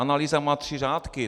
Analýza má tři řádky.